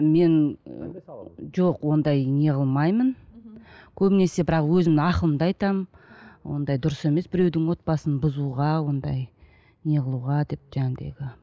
мен ы жоқ ондай неғылмаймын көбінесе бірақ өзімнің ақылымды айтамын ондай дұрыс емес біреудің отбасын бұзуға ондай неғылуға деп